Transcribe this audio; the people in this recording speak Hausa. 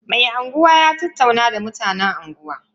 Mai unguwa ya tattauna da mutan unguwa.